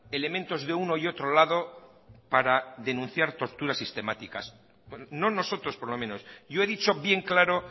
elementos de uno y otro lado para denunciar torturas sistemáticas no nosotros por lo menos yo he dicho bien claro